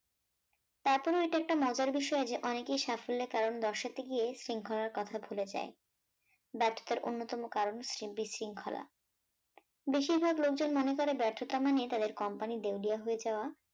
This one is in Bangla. তারপরেও এটা একটি মজার বিষয় যে অনেকেই সাফল্যের কারণ দর্শাতে গিয়ে শৃঙ্খলার কথা ভুলে যায়, ব্যর্থতার অন্যতম কারণ বিশৃঙ্খলা, বেশিরভাগ লোকজন মনে করে ব্যর্থতা মানে তাদের company দেওলিয়া হয়ে যাওয়া